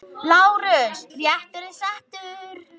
LÁRUS: Réttur er settur!